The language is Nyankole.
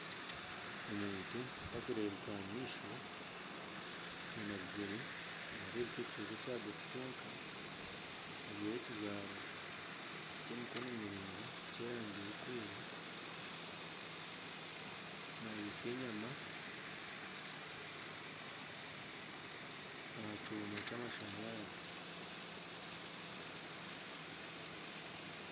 Omuntu tarikureebeka aha maisho naareebeka ebigyere byonka, ajwire ekijwaro ky'emikono miraingwa ky'erangi erikwera naayotsya enyama aha kyoma kyamashanyarazi